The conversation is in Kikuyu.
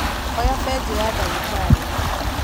oya benjo ya ndagĩtarĩ